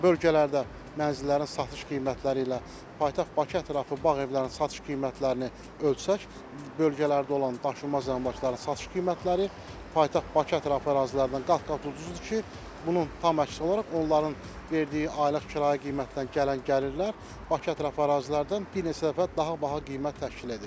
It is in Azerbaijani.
Bölgələrdə mənzillərin satış qiymətləri ilə paytaxt Bakı ətrafı bağ evlərinin satış qiymətlərini ölçsək, bölgələrdə olan daşınmaz əmlakların satış qiymətləri paytaxt Bakı ətrafı ərazilərindən qat-qat ucuzdur ki, bunun tam əksi olaraq onların verdiyi aylıq kirayə qiymətindən gələn gəlirlər Bakı ətrafı ərazilərdən bir neçə dəfə daha baha qiymət təşkil edir.